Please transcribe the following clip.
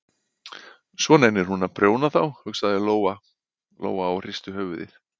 Svo nennir hún að prjóna á þá, hugsaði Lóa-Lóa og hristi höfuðið.